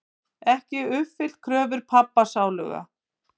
Ekki uppfyllt kröfur pabba sáluga.